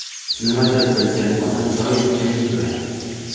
Nimanidir bilgan odam doim jim yuradi .